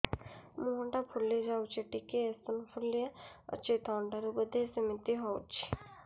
ମୁହଁ ଟା ଫୁଲି ଯାଉଛି ଟିକେ ଏଓସିନୋଫିଲିଆ ଅଛି ଥଣ୍ଡା ରୁ ବଧେ ସିମିତି ହଉଚି